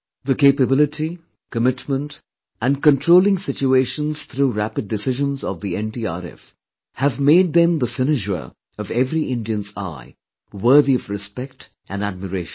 The capability, commitment & controlling situation through rapid decisions of the NDRF have made them a cynosure of every Indian's eye, worthy of respect & admiration